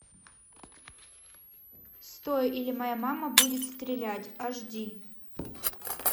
стой или моя мама будет стрелять аш ди